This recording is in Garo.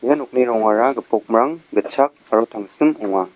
ia nokni rongara gipokmrang gitchak aro tangsim ong·a.